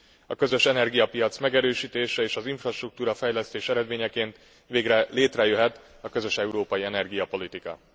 A közös energiapiac megerősítése és az infrastruktúrafejlesztés eredményeként végre létrejöhet a közös európai energiapolitika.